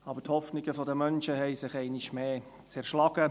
Aber die Hoffnungen der Menschen zerschlugen sich einmal mehr.